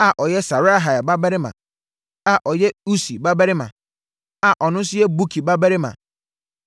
a ɔyɛ Serahia babarima a ɔyɛ Usi babarima a ɔno nso yɛ Buki babarima